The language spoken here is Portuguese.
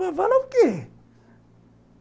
Vai falar o quê?